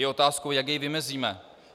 Je otázkou, jak jej vymezíme.